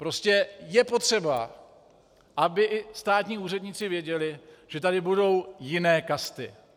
Prostě je potřeba, aby i státní úředníci věděli, že tady budou jiné kasty.